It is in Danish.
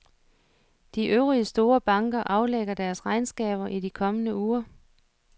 De øvrige store banker aflægger deres regnskaber i de kommende uger.